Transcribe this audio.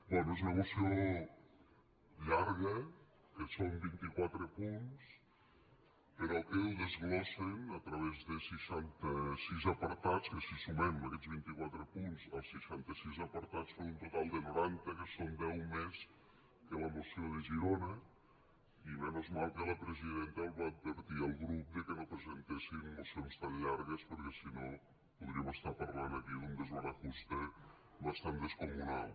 bé és una moció llarga que són vint i quatre punts però que ho desglossen a través de seixanta sis apartats que si sumem aquests vint i quatre punts als seixanta sis apartats són un total de noranta que són deu més la moció de girona i menos malpresidenta va advertir el grup de que no presentessin mocions tan llargues perquè si no podríem estar parlant aquí d’un desbarajuste bastant descomunal